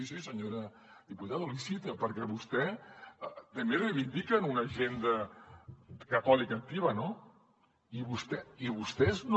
sí senyora diputada l’hi cito perquè vostès també reivindiquen una agenda catòlica activa no i vostès no